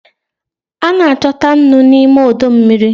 A na-achọta nnu n'ime ọdọ mmiri.